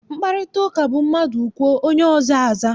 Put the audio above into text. Mkparịtaụka bụ mmadụ kwuo, onye ọzọ aza.